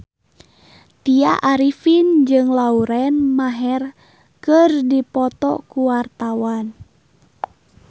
Tya Arifin jeung Lauren Maher keur dipoto ku wartawan